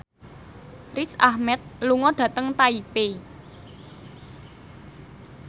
Riz Ahmed lunga dhateng Taipei